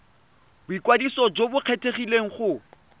boikwadiso jo bo kgethegileng go